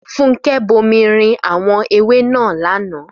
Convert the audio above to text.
Fúnkẹ́ bomirin àwọn ewé náà lánàá